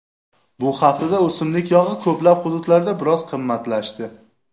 Bu haftada o‘simlik yog‘i ko‘plab hududlarda biroz qimmatlashdi.